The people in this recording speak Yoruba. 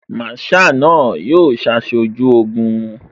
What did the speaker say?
Masaa ni yóò ṣaṣojú Ogun